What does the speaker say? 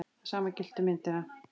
Það sama gilti um myndina.